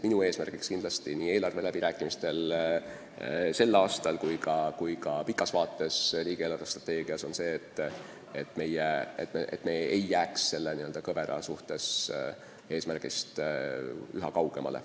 Minu eesmärk on nii tänavustel eelarveläbirääkimistel kui ka pikas vaates, riigi eelarvestrateegias see, et me ei jääks oma eesmärgist üha kaugemale.